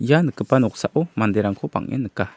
ia nikgipa noksao manderangko bang·en nika.